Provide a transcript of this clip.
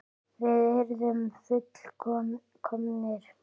Við yrðum full- komnir.